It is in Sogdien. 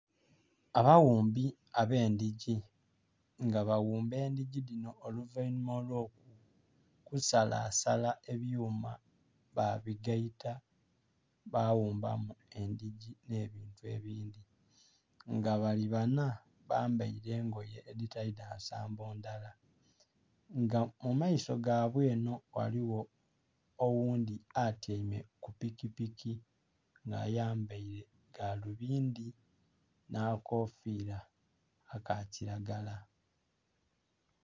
Abaghumbi ab'endhigi nga baghumba endhigi dhino oluvainnhuma olw'okusalasala ebyuma babigaita baghumba mu endhigi n'ebintu ebindhi. Nga bali banha bambaile engoye edhitali dha nsambo ndhala. Nga mu maiso gaibwe eno ghaligho oghundhi atyaime ku pikipiki nga ayambaile galubindi n'akakofiira aka kilagala.